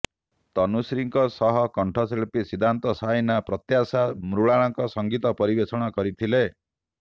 ତନୁଶ୍ରୀଙ୍କ ସହ କଣ୍ଠଶିଳ୍ପୀ ସିଦ୍ଧାନ୍ତ ସାଇନା ପ୍ରତ୍ୟାଶା ମୃଣାଳ ସଂଗୀତ ପରିବେଷଣ କରିଥିଲେ